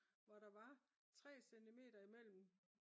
hvor der var 3 centimeter imellem